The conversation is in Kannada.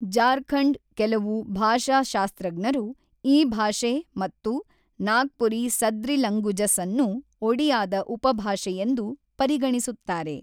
ಜಾರ್ಖಂಡ್ ಕೆಲವು ಭಾಷಶಾಸ್ತ್ರಜ್ಞರು ಈ ಭಾಷೆ ಮತ್ತು ನಾಗ್ಪುರಿ ಸದ್ರಿಲಂಗುಜಸ್ಅನ್ನು ಒಡಿಯಾದ ಉಪಾಭಾಷೆಗಳೆಂದು ಪರಿಗಣಿಸುತ್ತಾರೆ.